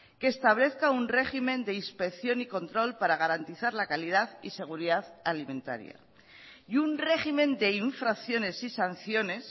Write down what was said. que establezca un régimen de inspección y control para garantizar la calidad y seguridad alimentaria y un régimen de infracciones y sanciones